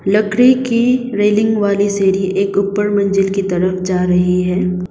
लकड़ी की रेलिंग वाली सीढ़ी एक ऊपर मंजिल की तरफ जा रही है।